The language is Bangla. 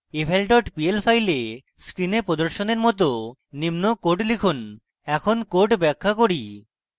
eval dot pl file screen প্রদর্শনের মত নিম্ন code লিখুন in code ব্যাখ্যা করি